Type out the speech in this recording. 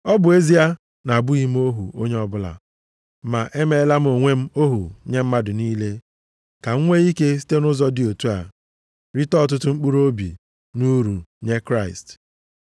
Ọ bụ ezie na-abụghị m ohu onye ọbụla, ma emeela m onwe m ohu nye mmadụ niile ka m nwee ike site nʼụzọ dị otu a rite ọtụtụ mkpụrụobi nʼuru nye Kraịst.